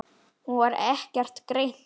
Hún var ekkert greind.